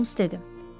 Holms dedi.